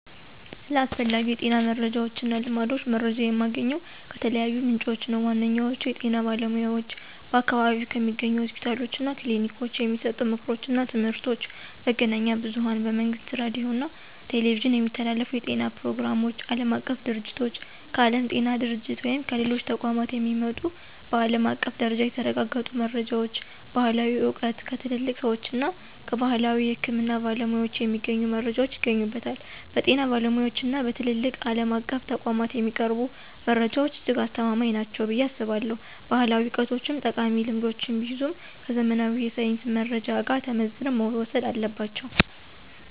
ስለ አስፈላጊ የጤና መረጃዎችና ልማዶች መረጃ የማገኘው ከተለያዩ ምንጮች ነው። ዋነኛዎቹ፦ የጤና ባለሙያዎች በአካባቢው ከሚገኙ ሆስፒታሎችና ክሊኒኮች የሚሰጡ ምክሮችና ትምህርቶች፣ መገናኛ ብዙኃን በመንግሥት ሬዲዮና ቴሌቪዥን የሚተላለፉ የጤና ፕሮግራሞች፣ ዓለም አቀፍ ድርጅቶች: ከዓለም ጤና ድርጅት ወይም ከሌሎች ተቋማት የሚመጡ በዓለም አቀፍ ደረጃ የተረጋገጡ መረጃዎች፣ ባሕላዊ ዕውቀት: ከትልልቅ ሰዎችና ከባሕላዊ የሕክምና ባለሙያዎች የሚገኙ መረጃዎች ይገኙበታል። በጤና ባለሙያዎችና በትላልቅ ዓለም አቀፍ ተቋማት የሚቀርቡ መረጃዎች እጅግ አስተማማኝ ናቸው ብዬ አስባለሁ። ባሕላዊ ዕውቀቶችም ጠቃሚ ልምዶችን ቢይዙም፣ ከዘመናዊ የሳይንስ መረጃ ጋር ተመዝነው መወሰድ አለባቸው።